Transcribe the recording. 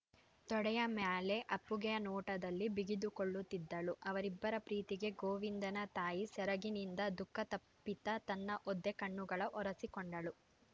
ತೊಡೆಯ ಮ್ಯಾಲೆ ಅಪ್ಪುಗೆಯ ನೋಟದಲಿ ಬಿಗಿದುಕೊಳ್ಳುತ್ತಿದ್ದಳು ಅವ್ರಿಬ್ಬರ ಪ್ರೀತಿಗೆ ಗೋವಿಂದನ ತಾಯಿ ಸೆರಗಿನಿಂದ ದುಃಖತಪ್ತಿತ ತನ್ನ ಒದ್ದೆ ಕಣ್ಣುಗಳ ಒರೆಸಿಕೊಂಡಳು